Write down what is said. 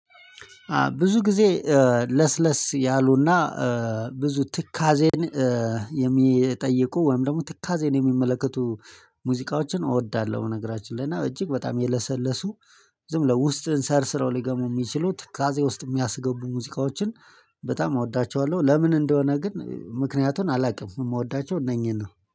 ብዙ ጊዜ ለስለስ ያሉና ብዙ ትካዜን የሚጠይቁ ወይም ደግሞ ትካዜን የሚመለከቱ ሙዚቃዎችን እወዳለሁ። በነገራችን ላይ እና እጅግ በጣም የለሰለሱ ዝም ብለው ውስጥህን ሰርስረው ሊገቡ የሚችሉ ትካዜ ውስጥ የሚያስገቡ ሙዚቃዎችን በጣም እወዳቸዋለሁ። ለምን እንደሆነ ግን ምክንያቱን አላቅም የምወዳቸው እነኚህን ነው